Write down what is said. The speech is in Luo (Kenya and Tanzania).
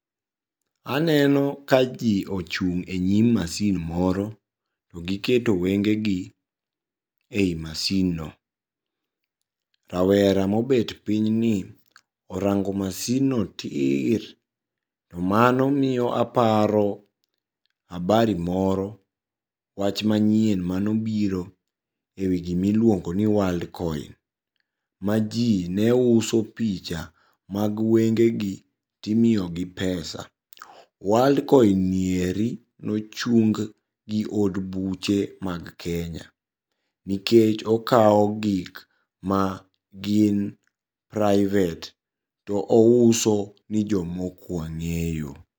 Aneno ka jii ochung' e nyim masin moro to giketo wengegi ei masin no. Rawera mobet piny ni orango masin no tir. Mano miyo aparo abari moro wach manyien manobiro e wi gima iluongoni world coin, ma jii neuso picha mag wengegi timiyo gi pesa. World coin nieri nochung gi od buche mag kenya, nikech okao gikma gin private to ouso ne joma okwang'eyo.